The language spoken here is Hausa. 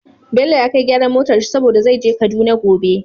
Bello ya kai gyaran motar shi saboda zai je kaduna gobe